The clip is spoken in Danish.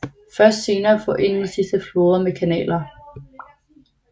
Først senere forenedes disse floder med kanaler